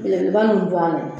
Belebeleba ninnu